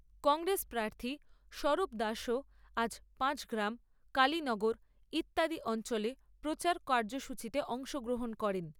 কংগ্রেস প্রার্থী স্বরূপ দাসও আজ পাঁচগ্রাম কালিনগর ইত্যাদি অঞ্চলে প্রচার কার্যসূচিতে অংশগ্রহণ করেন।